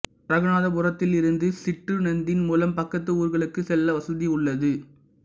இரகுநாதபுரத்தில் இருந்து சிற்றுந்தின் மூலம் பக்கத்து ஊர்களுக்கு செல்ல வசதி உள்ளது